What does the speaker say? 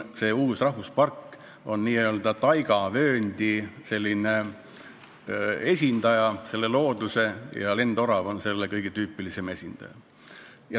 See uus rahvuspark on n-ö taigavöönd ja lendorav on selle kõige tüüpilisem esindaja.